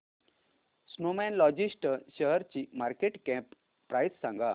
Snowman लॉजिस्ट शेअरची market cap price सांगा